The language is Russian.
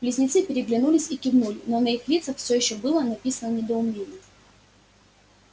близнецы переглянулись и кивнули но на их лицах все ещё было написано недоумение